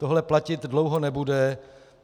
Tohle platit dlouho nebude.